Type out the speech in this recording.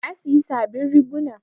Na siyi sabin riguna